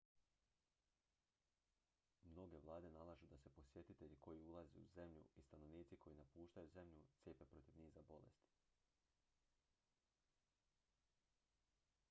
mnoge vlade nalažu da se posjetitelji koji ulaze u zemlju i stanovnici koji napuštaju zemlju cijepe protiv niza bolesti